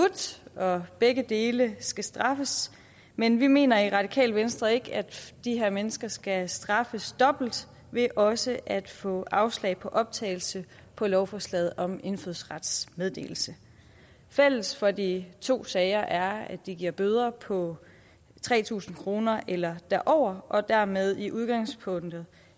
og begge dele skal straffes men vi mener i radikale venstre ikke at de her mennesker skal straffes dobbelt ved også at få afslag på optagelse på lovforslaget om indfødsrets meddelelse fælles for de to sager er at de giver bøder på tre tusind kroner eller derover og dermed i udgangspunktet